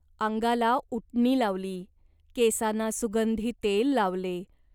अंगाला उटणी लावली. केसांना सुगंधी तेल लावले.